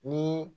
Ni